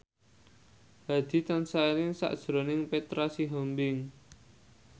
Hadi tansah eling sakjroning Petra Sihombing